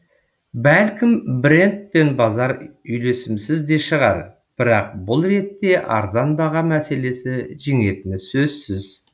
бәлкім брэнд пен базар үйлесімсіз де шығар бірақ бұл ретте арзан баға мәселесі жеңетіні сөзсіз